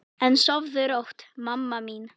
En sofðu rótt, mamma mín.